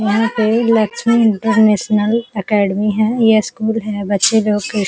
यहाँ पे Lakshmi international academy है या स्कूल है। बच्चे लोग के --